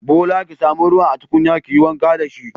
Bola ki samu ruwan a tukunyar kiyi wanka dashi.